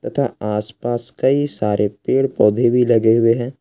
था आस पास कई सारे पेड़ पौधे भी लगे हुए हैं।